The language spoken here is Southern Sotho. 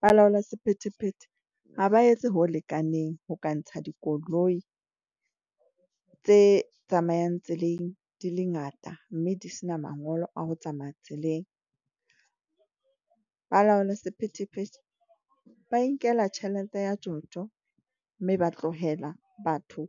Balaola sephethephethe ha ba etse ho lekaneng ho ka ntsha dikoloi, tse tsamayang tseleng di le ngata mme di sena mangolo a ho tsamaya tseleng. Balaola sephethephethe ba inkela tjhelete ya tjotjo mme ba tlohela batho